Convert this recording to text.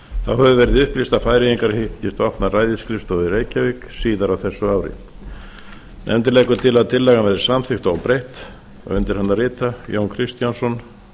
hefur verið upplýst að færeyingar hyggist opna ræðisskrifstofu í reykjavík síðar á þessu ári nefndin leggur til að tillagan verði samþykkt óbreytt undir hana rita jón kristjánsson